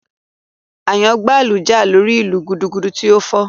Àyàngbáàlù jà lórí ìlù gudugudu tí ó fọ́